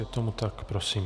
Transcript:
Je tomu tak, prosím.